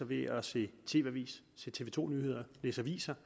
ved at se tv avisen se tv to nyhederne læse aviser